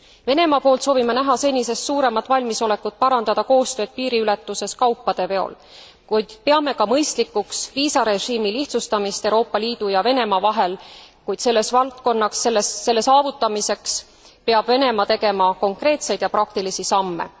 Venemaa poolt soovime näha senisest suuremat valmisolekut parandada koostööd piiriületuses kaupade veol, kuid peame ka mõistlikuks viisarežiimi lihtsustamist Euroopa Liidu ja Venemaa vahel, kuid selle saavutamiseks peab Venemaa tegema konkreetseid ja praktilisi samme.